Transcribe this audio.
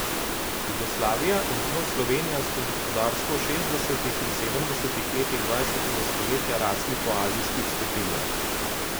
Jugoslavija in z njo Slovenija sta gospodarsko v šestdesetih in sedemdesetih letih dvajsetega stoletja rasli po azijskih stopnjah.